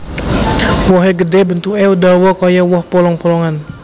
Wohé gedhé bentuké dawa kaya woh polong polongan